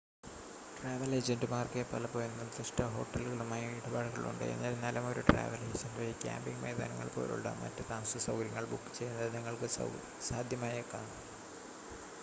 travel ഏജൻ്റുമാർക്ക് പലപ്പോഴും നിർദ്ദിഷ്‌ട ഹോട്ടലുകളുമായി ഇടപാടുകൾ ഉണ്ട് എന്നിരുന്നാലും ഒരു ട്രാവൽ ഏജൻ്റ് വഴി ക്യാമ്പിംഗ് മൈതാനങ്ങൾ പോലുള്ള മറ്റ് താമസസൗകര്യങ്ങൾ ബുക്ക് ചെയ്യുന്നത് നിങ്ങൾക്ക് സാധ്യമായേക്കാം